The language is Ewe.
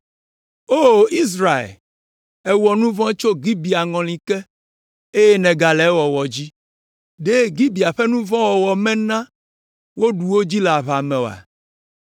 “O Israel, èwɔ nu vɔ̃ tso Gibea ŋɔli ke, eye nègale ewɔwɔ dzi. Ɖe Gibea ƒe nu vɔ̃ wɔwɔ mena woɖu wo dzi le aʋa me oa?